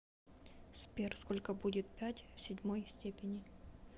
сбер сколько будет пять в седьмой степени